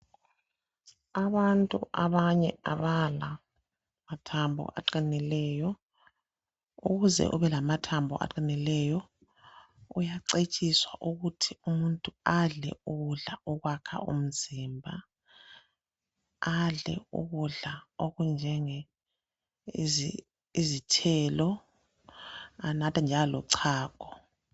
Abantu abanye abala mathambo aqinileyo ukuze ube lamathambo aqinileyo uyacetshiswa ukuthi umuntu adle ukudla okwakha umzimba adle ukudla okunjengezithelo anathe njalo lochago.